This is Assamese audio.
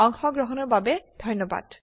অংশগ্ৰহণৰ বাবে ধন্যবাদ